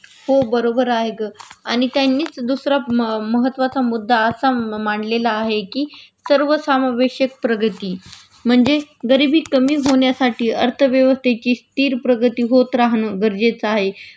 हो बरोबर आहे ग आणि त्यांनीच दुसरा महत्वाचा मुद्दा असा मांडलेला आहे कि सर्व सामवेशक प्रगती म्हणजे गरिबी कमी होण्यासाठी अर्थव्यवस्तेची स्थिर प्रगती होत राहणं गरजेचं आहे